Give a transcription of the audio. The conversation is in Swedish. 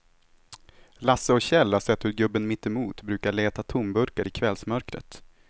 Lasse och Kjell har sett hur gubben mittemot brukar leta tomburkar i kvällsmörkret.